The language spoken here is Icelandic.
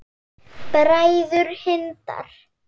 Bræður Hindar